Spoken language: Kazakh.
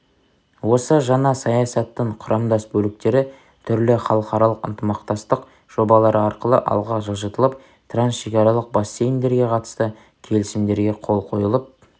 осы жаңа саясаттың құрамдас бөліктері түрлі халықаралық ынтымақтастық жобалары арқылы алға жылжытылып трансшекаралық бассейндерге қатысты келісімдерге қол қойылып